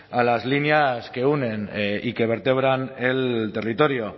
a las líneas que unen y que vertebran el territorio